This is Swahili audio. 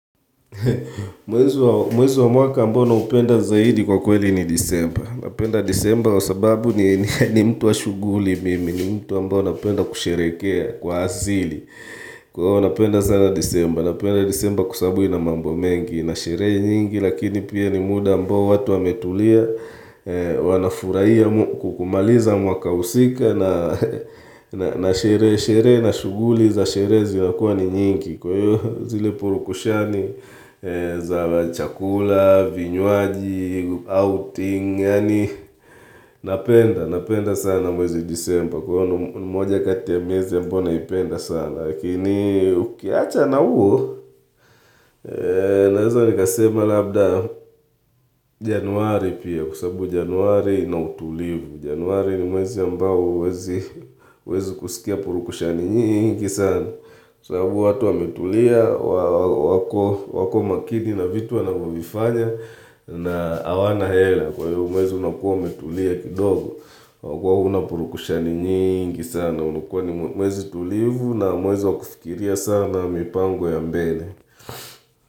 Mwezi wa mwaka ambao naupenda zaidi kwa kweli ni disemba Napenda disemba wa sababu ni mtu wa shughuli mimi ni mtu ambao napenda kusherehekea kwa asili Kwa hivo napenda sana disemba Napenda disemba kwa sababu ina mambo mengi Nasherehe nyingi lakini pia ni muda ambao watu wametulia Wanafurahia kumaliza mwaka husika Nasherehe sherehe na shughuli za sherehe zinakuwa ni nyingi Kwa hiyo zile purukushani za chakula, vinywaji, outing, yaani napenda napenda sana mwezi December Kwa hiyo mmoja kati ya miezi ambayo naipenda sana Lakini ukiacha na huo, naweza nikasema labda januari pia kwa sababu januari inautulivu Januari ni mwezi ambao huwezi kusikia purukushani nyingi sana sababu watu wametulia, wako makini na vitu wanavyovifanya na hawana hela kwa hivo mwezi unakuwa umetulia kidogo kwa kuwa unapurukushani nyingi sana unakuwa ni mwezi tulivu na mwezi wa kufikiria sana mipango ya mbele.